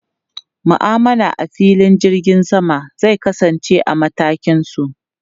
Ma'amala a filin jirgin sama zai kasance a matakin su.